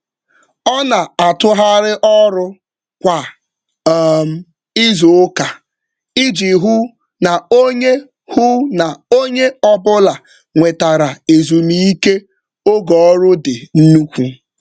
Ọ na-atụgharị ọrụ kwa um izuụka iji hụ na onye hụ na onye ọbụla nwetara ezumike oge ọrụ dị nnukwu.